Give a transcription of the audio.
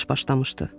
Savaş başlamışdı.